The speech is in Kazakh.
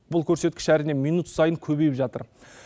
бұл көрсеткіш әрине минут сайын көбейіп жатыр